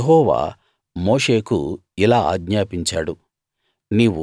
యెహోవా మోషేకు ఇలా ఆజ్ఞాపించాడు